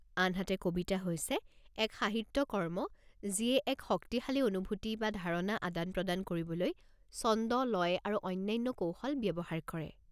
আনহাতে, কবিতা হৈছে এক সাহিত্য কৰ্ম যিয়ে এক শক্তিশালী অনুভূতি বা ধাৰণা আদান-প্ৰদান কৰিবলৈ ছন্দ, লয় আৰু অন্যান্য কৌশল ব্যৱহাৰ কৰে।